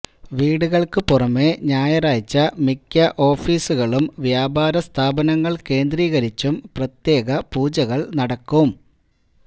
വീടുകള്ക്ക് പുറമേ ഞായറാഴ്ച മിക്ക ഓഫീസുകളും വ്യാപാരസ്ഥാപനങ്ങള് കേന്ദ്രീകരിച്ചും പ്രത്യേകപൂജകള് നടക്കും